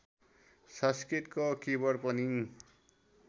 संस्कृतको किबोर्ड पनि